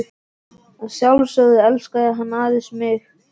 Að sjálfsögðu elskaði hann aðeins mig.